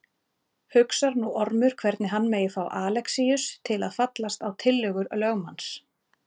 Hugsar nú Ormur hvernig hann megi fá Alexíus til að fallast á tillögur lögmanns.